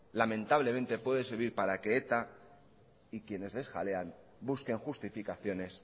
lamentablemente puede servir para que eta y quienes les jalean busquen justificaciones